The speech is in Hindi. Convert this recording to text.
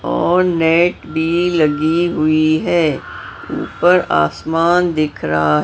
और नेट भी लगी हुई है ऊपर आसमान दिख रहा--